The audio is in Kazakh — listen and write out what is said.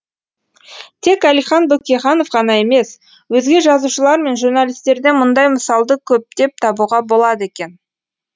тек әлихан бөкейханов ғана емес өзге жазушылар мен журналистерден мұндай мысалды көптеп табуға болады екен